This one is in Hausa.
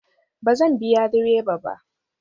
Ba zan biya direba ba